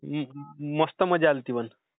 मस्त मजा आली होती पण.